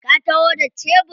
Ka taho da shebur?